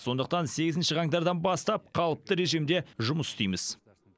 сондықтан сегізінші қаңтардан бастап қалыпты режимде жұмыс істейміз